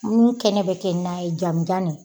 Min kɛnɛ bɛ kɛ na ye jamujan nin.